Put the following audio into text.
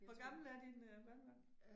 Hvor gamle er dine øh børnebørn